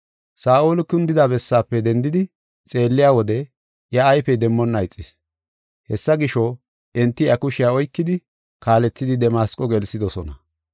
Saa7oli kundida bessaafe dendidi xeelliya wode iya ayfey demmonna ixis. Hessa gisho, enti iya kushiya oykidi kaalethidi Damasqo gelsidosona.